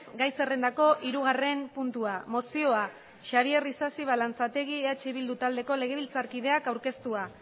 gai zerrendako hirugarren puntua mozioa xabier isasi balanzategi eh bildu taldeko legebiltzarkideak aurkeztua